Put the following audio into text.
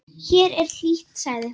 Hér er hlýtt, sagði hún.